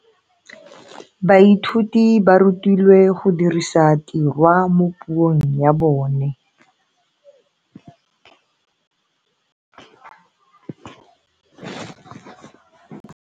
Baithuti ba rutilwe go dirisa tirwa mo puong ya bone.